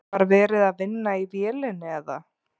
Var verið að vinna í vélinni eða?